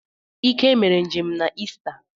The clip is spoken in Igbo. Ike mere njem na Ista